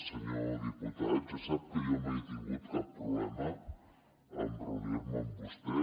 senyor diputat ja sap que jo mai he tingut cap problema amb reunir me amb vostè